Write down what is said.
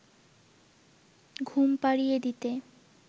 ঘুম পাড়িয়ে দিতে